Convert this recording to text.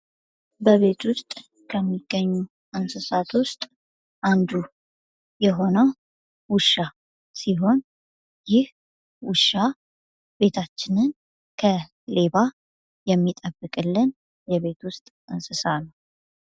በቤት ውስጥ ከሚገኙ እንሥሣት ውስጥ አንዱ የሆኖ ውሻ ሲሆን ይህ ውሻ ሲሆን ቤታችን ከ ሌባ የሚጠብቀን የቤት ውስጥ እንስሳ ነው።